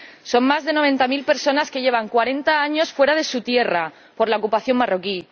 Son más de noventa mil personas las que llevan cuarenta años fuera de su tierra por la ocupación marroquí.